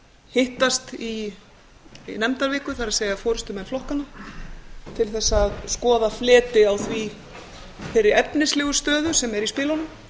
hittast í nefndaviku það er forustumenn flokkanna til að skoða fleti á þeirri efnislegu stöðu sem er í spilunum